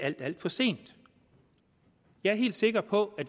alt alt for sent jeg er helt sikker på